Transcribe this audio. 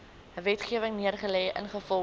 wetgewing neergelê ingevolge